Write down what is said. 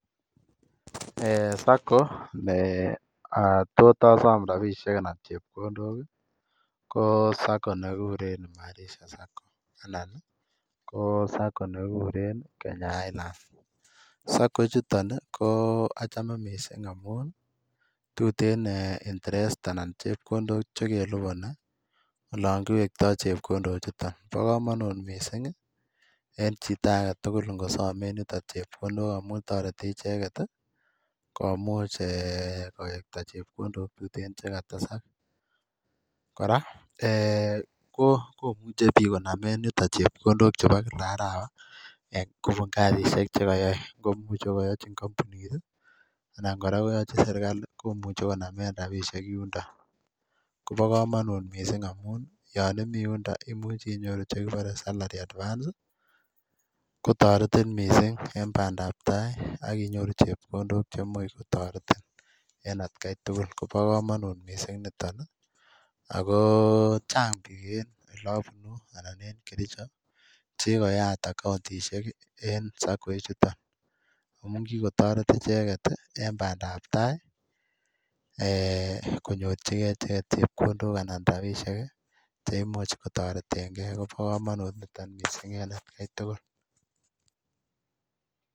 Sacco ne tot asom rabishek anan chepkondok ko sacco nekikuren imarisha Sacco anan ko Sacco nekikuren Kenya highlands Sacco chuto ko achome mising' amun tutin interest anan chepkondok chekelipani olon kiwekton chepkondochuton bo kamanut mising' en chito agetugul ngosomen yuto chepkondok amun toreti icheget komuch kowekta chepkondok tutin chekatesak kora komuchei biik konamin yutok chepkondok chebo kila arawa kobun kasishek chekayoei komuchei ko kayochi kampunit anan kora koyoche serikali komuche konamen rabishek yundo kobo kamanut mising' amun nyon imi yundo komuch inyoru chekiborei salary advance kotoretin mising' eng' bandaptai akinyoru chepkondok chemuch kotoretin eng' atkeitugul kobo komonut mising' nitoni ako chang' biik eng' oleabunu anan eng' kericho chekikoyat akauntishek en Sacco ii chuton amun kikotoret icheget en bandaptai konyorchigei icheget chepkondok anan rabishek che imuch kotoretengei kobo kamanut niton mising' en atkeituguk